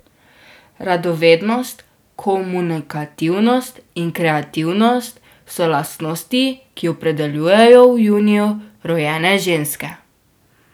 Radovednost, komunikativnost in kreativnost so lastnosti, ki opredeljujejo v juniju rojene ženske.